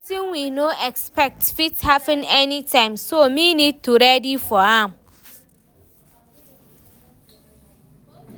Wetin we no expect fit happen any time, so me need to ready for am